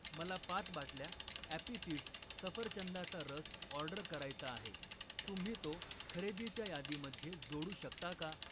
मला पाच बाटल्या ॲपी फिझ सफरचंदाचा रस ऑर्डर करायचा आहे, तुम्ही तो खरेदीच्या यादीमध्ये जोडू शकता का?